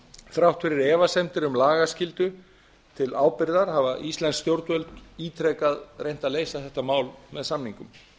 þrátt fyrir efasemdir um lagaskyldu til ábyrgðar hafa íslensk stjórnvöld ítrekað reynt að leysa þetta mál með samningum